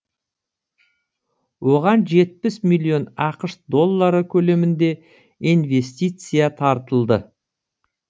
оған жетпіс миллион ақш доллары көлемінде инвестиция тартылды